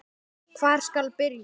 Hvar skal byrja?